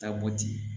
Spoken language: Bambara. Taa bɔ ten